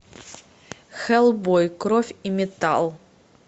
хеллбой кровь и металл